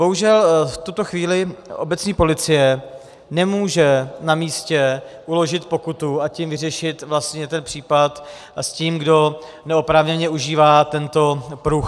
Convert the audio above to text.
Bohužel v tuto chvíli obecní policie nemůže na místě uložit pokutu, a tím vyřešit vlastně ten případ s tím, kdo neoprávněně užívá tento pruh.